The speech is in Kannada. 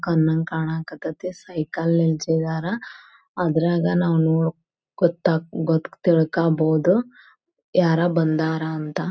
ಕನ್ನಂಗ್ ಕಣಕ್ ಹತೈತಿ ಸೈಕಲ್ ನಿಲ್ಸಿದಾರ ಅದ್ರಾಗ ತಿಳ್ಕೊಬಹುದು ಯಾರ ಬಂದಾರ ಅಂತ.